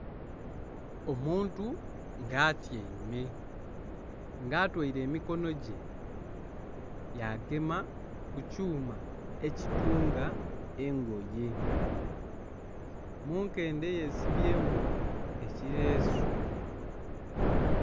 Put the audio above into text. Omuntu nga atyaime nga atwaire emikono gye yagema kukyuma ekitunga engoye munkende yesibyemu ekiresu.